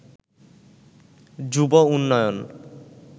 যুব উন্নয়ন